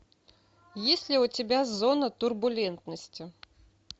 есть ли у тебя зона турбулентности